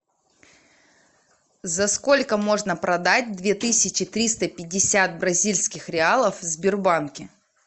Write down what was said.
за сколько можно продать две тысячи триста пятьдесят бразильских реалов в сбербанке